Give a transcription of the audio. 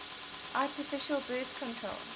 artificial birth control